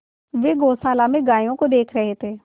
वे गौशाला में गायों को देख रहे थे